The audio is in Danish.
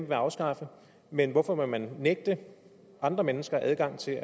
vil afskaffe men hvorfor vil man nægte andre mennesker adgang til